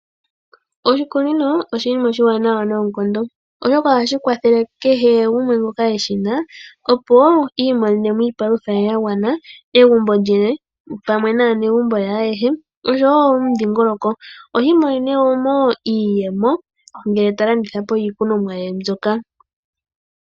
Oshikunino oshinima oshiwanawa noonkondo oshoka ohashi kwathele kehe gumwe ngoka eshi na opo iiminene mo iipalutha ye ya gwana pamwe naanegumbo ye ayehe, osho wo omudhingoloko. Ohiimonene mo wo iiyemo ngele ta landitha po iilikolomwa ye mbyoka.